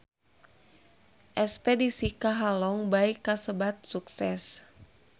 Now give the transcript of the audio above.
Espedisi ka Halong Bay kasebat sukses